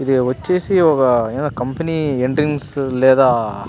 ఇది వచ్చ్చేసి ఒక కంపెనీ ఎంట్రన్స్ లేదా --